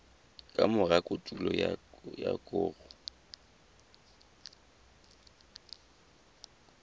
ka mora kotulo ya koro